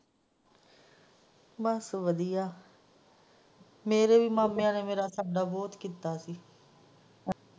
ਬਸ ਵਧੀਆ ਮੇਰੇ ਹੀ ਮਾਮਿਆਂ ਨੇ ਮੇਰਾ ਬਹੁਤ ਕੀਤਾ ਸੀ।